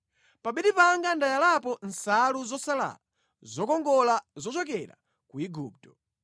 Pa bedi panga ndayalapo nsalu zosalala zokongola zochokera ku Igupto.